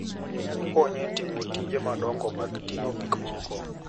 Okonyo e timo tije madongo mag ting'o gik moko.